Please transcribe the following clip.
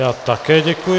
Já také děkuji.